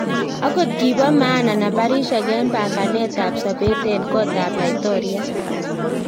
Akot kibo maana nambarisiek en panganet ab sobet en kotab laitoriat